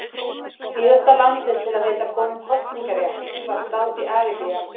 Síðasta landið til að veita konum kosningarétt var Sádi-Arabía.